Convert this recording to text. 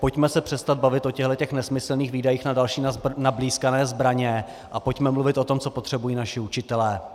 Pojďme se přestat bavit o těchto nesmyslných výdajích na další nablýskané zbraně a pojďme mluvit o tom, co potřebují naši učitelé.